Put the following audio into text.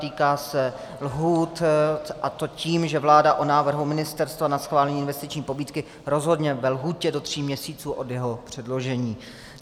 Týká se lhůt, a to tím, že vláda o návrhu ministerstva na schválení investiční pobídky rozhodne ve lhůtě do tří měsíců od jeho předložení.